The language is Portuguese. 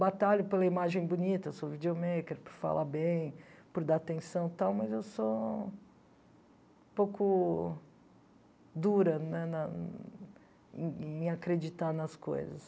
Batalho pela imagem bonita, sou videomaker, por falar bem, por dar atenção e tal, mas eu sou um pouco dura na na em em acreditar nas coisas.